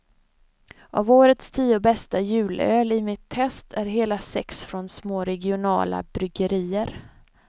Av årets tio bästa julöl i mitt test är hela sex från små regionala bryggerier.